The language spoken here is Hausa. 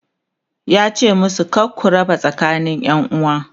yace musu "kar ku rarraba tsakanin ƴanuwa!"